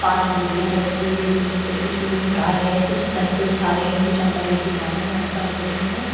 पांच बोरियां रखी हुई है जिसमें से कुछ लोग निकाल रहे है कुछ सर पे उठा रहे है कुछ अंदर लेके जा रहे है ऐसा कर रहे है।